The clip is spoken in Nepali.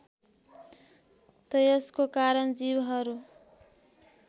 त्यसको कारक जीवहरू